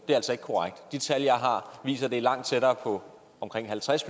det er altså ikke korrekt de tal jeg har viser at det er langt tættere på omkring halvtreds